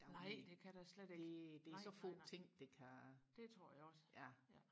nej det kan det slet ikke nej nej nej det tror jeg også